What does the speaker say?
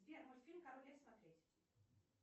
сбер мультфильм король лев смотреть